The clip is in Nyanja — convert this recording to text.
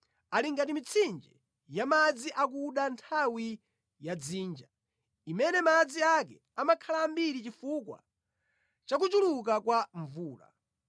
Ali ngati mitsinje ya madzi akuda nthawi ya dzinja, imene madzi ake amakhala ambiri chifukwa chakuchuluka kwa mvula,